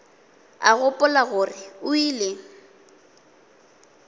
a gopola gore o ile